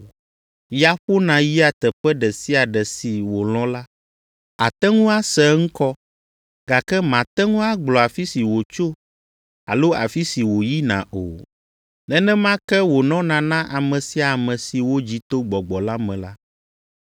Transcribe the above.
Ya ƒona yia teƒe ɖe sia ɖe si wòlɔ̃ la; àte ŋu ase eŋkɔ, gake màte ŋu agblɔ afi si wòtso alo afi si wòyina o. Nenema ke wònɔna na ame sia ame si wodzi to Gbɔgbɔ la me la.”